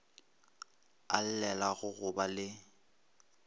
a llelago go ba le